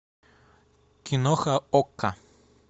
киноха окко